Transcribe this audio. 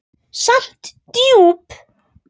Samt djúp.